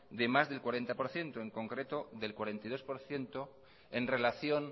de más del cuarenta por ciento en concreto del cuarenta y dos por ciento en relación